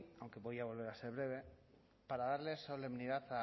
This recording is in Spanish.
aunque voy a volver a ser breve para darle solemnidad